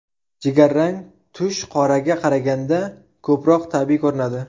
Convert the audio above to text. Jigar rang tush qoraga qaraganda ko‘proq tabiiy ko‘rinadi.